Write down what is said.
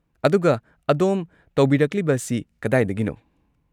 ꯑꯗꯨꯒ ꯑꯗꯣꯝ ꯇꯧꯕꯤꯔꯛꯂꯤꯕ ꯑꯁꯤ ꯀꯗꯥꯏꯗꯒꯤꯅꯣ?